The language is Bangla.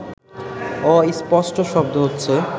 অস্পষ্ট শব্দ হচ্ছে